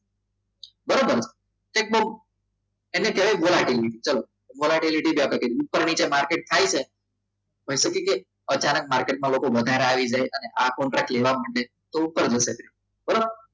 બરાબર check box એટલે ક્યારેય જવા દઈએ ઉપર નીચે માર્કેટ થાય છે પણ અચાનક માર્કેટમાં લોકો વધારે આવી જાય અને આ કોન્ટ્રાક્ટ લેવા માંડે તો ઉપર નીચે ઉપર વધે